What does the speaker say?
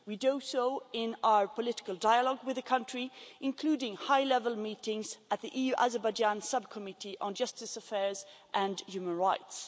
We do so in our political dialogue with the country, including high-level meetings at the EU Azerbaijan Subcommittee on Justice Affairs and Human Rights.